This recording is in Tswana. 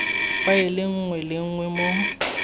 faele nngwe le nngwe mo